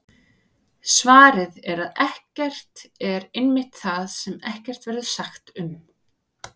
Svarið er að ekkert er einmitt það sem ekkert verður sagt um!